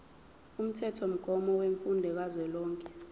umthethomgomo wemfundo kazwelonke